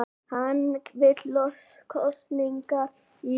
Hann vill kosningar í vor